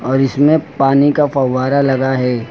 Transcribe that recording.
और इसमें पानी का फव्वारा लगा है।